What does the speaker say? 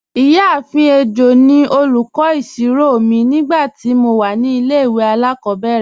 Iyaafin Ejo ni olúkọ̀ isírò mi nígbàtí mó wà ní ilẹ̀-ìwé aláàkòbẹ̀rẹ̀